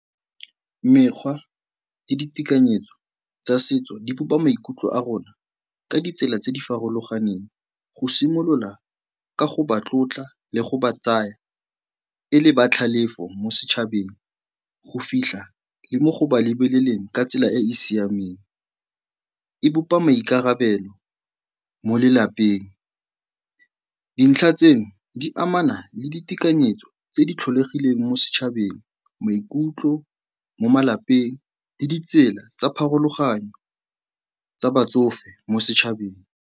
Mekgwa le ditekanyetso tsa setso di bopa maikutlo a rona ka ditsela tse di farologaneng. Go simolola ka go ba tlotla le go ba tsaya e le ba tlhalefo mo setšhabeng, go fitlha le mo go ba lebeleleng ka tsela e e siameng e bopa maikarabelo mo lelapeng. Dintlha tseno di amana le ditekanyetso tse di tlholegileng mo setšhabeng, maikutlo mo malapeng le ditsela tsa pharologano tsa batsofe mo setšhabeng.